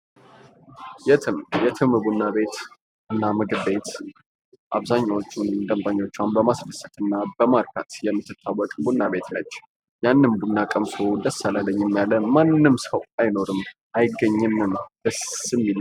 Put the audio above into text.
ቡና ቤቶችና ምግብ ቤቶች ሰዎች የሚገናኙበት፣ የሚዝናኑበትና የተለያዩ መጠጦችንና ምግቦችን የሚቀምሱበት ማህበራዊና ኢኮኖሚያዊ ስፍራዎች ናቸው